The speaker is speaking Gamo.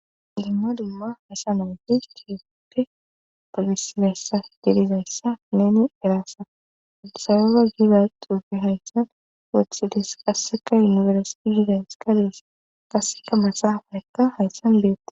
Dumma dumma haysa naoti kiyepppe togisibeyssa delizayssa neni eraassa udisababa gida duufe hayssan wethhidis qasseka yunimersiti gidays kadees qasika masaafarekka hayssan beette